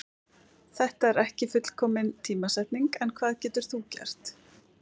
Þetta er ekki fullkomin tímasetning en hvað getur þú gert?